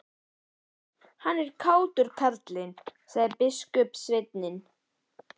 Hann er kátur, karlinn, sagði biskupssveinninn.